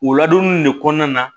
O ladonni in ne kɔnɔna na